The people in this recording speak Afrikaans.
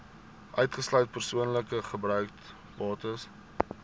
uitgesluit persoonlike gebruiksbates